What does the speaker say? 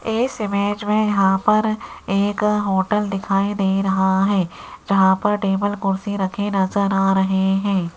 इस इमेज में यहां पर एक होटल दिखाई दे रहा है जहां पर टेबल कुर्सी रखे नजर आ रहे हैं।